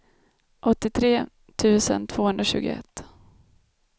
åttiotre tusen tvåhundratjugoett